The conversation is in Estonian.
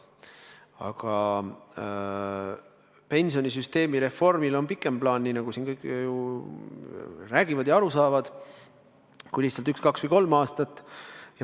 Aga pensionisüsteemi reformiga on seotud, nii nagu siin kõik räägivad ja aru saavad, pikem plaan kui üks, kaks või kolm aastat.